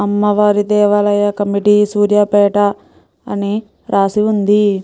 అమ్మవారి దేవాలయ committee Suryapet రాసి ఉంది.